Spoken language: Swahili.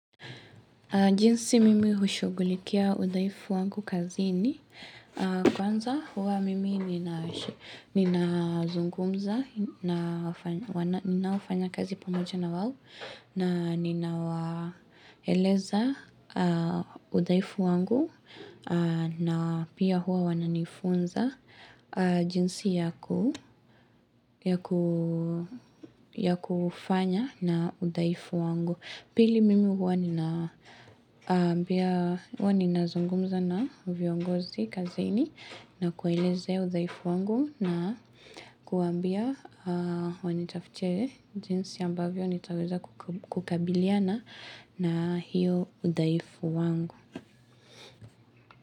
Jinsi mimi hushugulikia udhaifu wangu kazini kwanza huwa mimi ninazungumza, ninaofanya kazi pamoja na wao na ninawaeleza udhaifu wangu na pia huwa wananifunza jinsi yaku ya kufanya na udhaifu wangu. Pili mimi huwa ninazungumza na viongozi kazini na kuelezea udhaifu wangu na kuambia wanitafutie jinsi ambavyo nitaweza kukabiliana na hiyo udhaifu wangu.